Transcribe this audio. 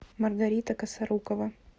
маргарита косорукова